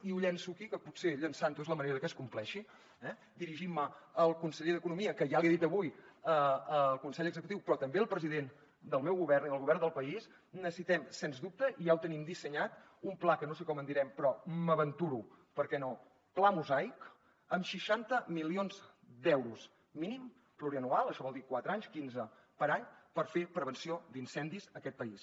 i ho llanço aquí que potser llançant ho és la manera de que es compleixi eh dirigint me al conseller d’economia que ja l’hi he dit avui al consell executiu però també al president del meu govern i del govern del país necessitem sens dubte i ja ho tenim dissenyat un pla que no sé com en direm però m’aventuro per què no pla mosaic amb seixanta milions d’euros mínim plurianual això vol dir quatre anys quinze per any per fer prevenció d’incendis a aquest país